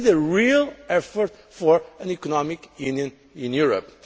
We need a real effort for an economic union in Europe.